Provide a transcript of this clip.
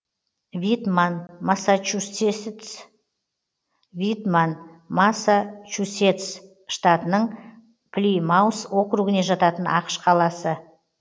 витман массачусетс штатының плимаус округіне жататын ақш қаласы